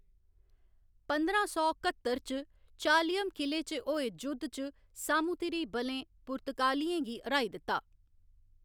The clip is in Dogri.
पंदरां सौ कत्तर च, चालियम किले च होए जुद्ध च सामूतिरी बलें पुर्तगालियें गी र्‌हाई दित्ता।